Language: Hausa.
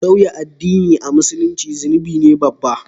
sauya addin a Musulunci zunubi ne babba